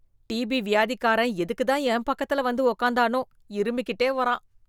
DP வியாதிக்காரன் எதுக்கு தான் என் பக்கத்துல வந்து உக்கார்ந்தானோ? இருமிகிட்டே வரான்.